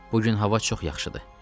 Bu gün hava çox yaxşıdır.